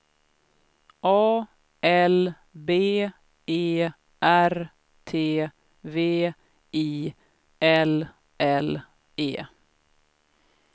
A L B E R T V I L L E